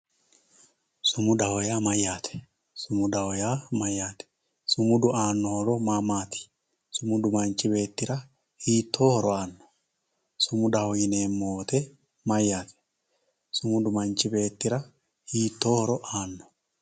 Sumudaho yaa mayate, sumudaho yaa mayatr, sumudu aano horo maa maati, sumudu manchi beetira hittoo horo aano, sumudaho yineemo woyite mayate, sumudu manchi beettira hittoo horo aano